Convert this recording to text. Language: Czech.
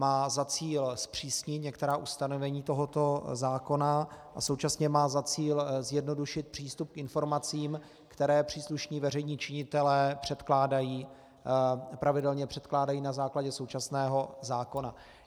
Má za cíl zpřísnit některá ustanovení tohoto zákona a současně má za cíl zjednodušit přístup k informacím, které příslušní veřejní činitelé pravidelně předkládají na základě současného zákona.